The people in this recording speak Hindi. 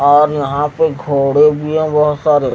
और यहा पे घोड़े भी है बहोत सारे--